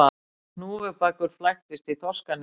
Hnúfubakur flæktist í þorskaneti